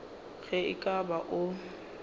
ge e ka ba o